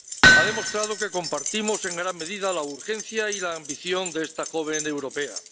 ha demostrado que compartimos en gran medida la urgencia y la ambición de esta joven europea.